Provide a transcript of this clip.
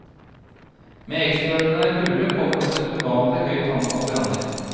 Med ekstraordinær kulde kommer også et uvanlig høyt antall branner.